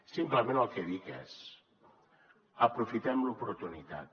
simplement el que dic és aprofitem l’oportunitat